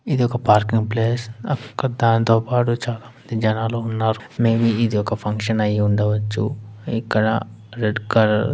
ఇదొక parking place దాంతోపాటూ చాలా మంది జనాలున్నారు మేబి ఇది ఒక ఫంక్షన్ అయి ఉండవచ్చు ఇక్కడ రెడ్ కలర్ ---